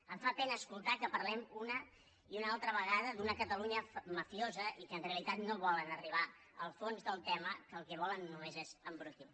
em fa pena escoltar que parlem una i una altra vegada d’una catalunya mafiosa i que en realitat no volen arribar al fons del tema que el que volen només és embrutir